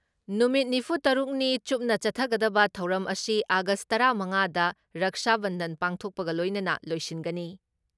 ꯅꯨꯃꯤꯠ ꯅꯤꯐꯨ ꯇꯔꯨꯛꯅꯤ ꯆꯨꯞꯅ ꯆꯊꯒꯗꯕ ꯊꯧꯔꯝ ꯑꯁꯤ ꯑꯥꯒꯁ ꯇꯔꯥ ꯃꯉꯥ ꯗ ꯔꯛꯁꯥ ꯕꯟꯙꯟ ꯄꯥꯡꯊꯣꯛꯄꯒ ꯂꯣꯏꯅꯅ ꯂꯣꯏꯁꯤꯟꯒꯅꯤ ꯫